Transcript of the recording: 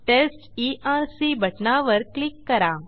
taste ERC बटणावर click करा